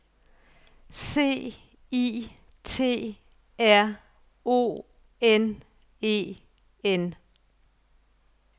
C I T R O N E N